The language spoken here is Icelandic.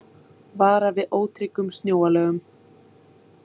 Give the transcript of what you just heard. Varað við ótryggum snjóalögum